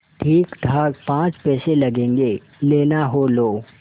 ठीकठाक पाँच पैसे लगेंगे लेना हो लो